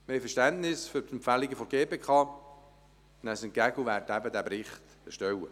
Wir haben Verständnis für die Empfehlungen der GPK, nehmen sie entgegen und werden diesen Bericht erstellen.